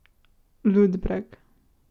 Ludbreg.